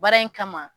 Baara in kama